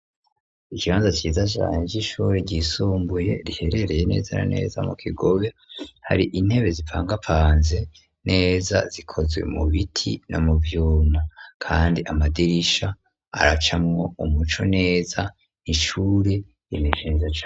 Ikibanza ciza cane c'ishure ryisumbuye riherereye neza na neza mu kigobe hari intebe zipangapanze neza zikozwe mu biti no mu vyuma kandi amadirisha araca mwo umuco neza nishure imiezc.